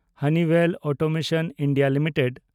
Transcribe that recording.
Honeywell Automation India limited